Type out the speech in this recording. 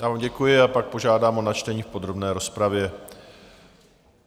Já vám děkuji a pak požádám o načtení v podrobné rozpravě.